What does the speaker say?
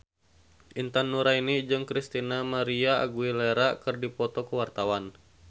Intan Nuraini jeung Christina María Aguilera keur dipoto ku wartawan